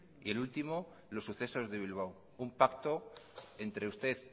y el último los sucesos de bilbao un pacto entre usted